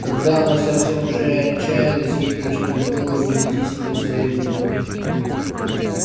когда она совсем уже отчаялась ей пришло в голову найти себе союзника